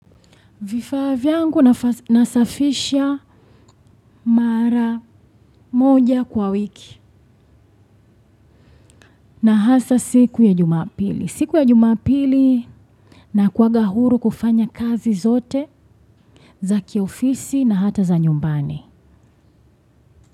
Vifaa vyangu nasafisha mara moja kwa wiki na hasa siku ya Jumapili. Siku ya jumapili nakuaga huru kufanya kazi zote za kiofisi na hata za nyumbani.